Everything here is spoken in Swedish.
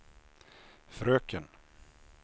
fröken